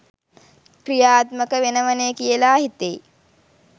ක්‍රියාත්මක වෙනවනේ කියලා හිතෙයි